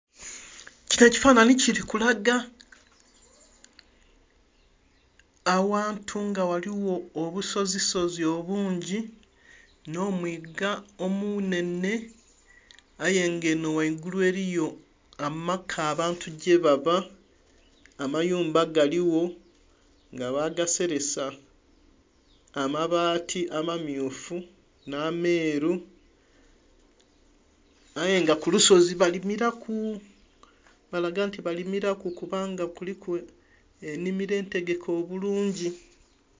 Kino ekifanhanhi kili kulaga awantu nga ghaligho obusozisozi obungi n'omwiga omunhenhe aye nga eno waigulu eliyo amaka abantu gyebaba, amayumba galigho nga bagaselesa amabaati amammyufu n'ameeru aye nga ku lusozi balimiraku balaga nti balimiraku kubanga kuliku ennhimiro entegeke obulungi.